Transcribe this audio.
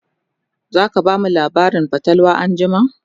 zaka bamu labarin fatalwa anjima?